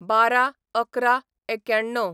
१२/११/९१